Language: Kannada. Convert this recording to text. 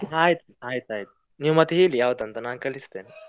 ಆಯ್ತ್ ಆಯ್ತಾಯ್ತು, ನೀವ್ ಮತ್ತೆ ಹೇಳಿ ಯಾವುದ್ ಅಂತ ನಾನ್ ಕಳಿಸ್ತೇನೆ.